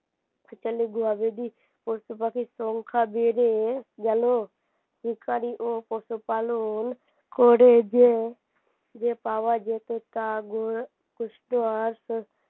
গবাদি পশুপাখির সংখ্যা বেড়ে গেল শিকারী ও পশুপালন করে যে যে পাওয়া যেত তা